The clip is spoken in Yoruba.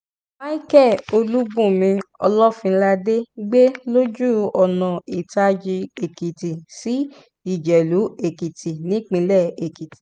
micheal olùbùnmi olófinládé gbé lójú ọ̀nà ìtàjì-èkìtì sí ìjẹ̀lù-èkìtì nípilẹ̀ èkìtì